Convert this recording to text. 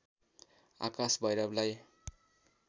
आकाश भैरवलाई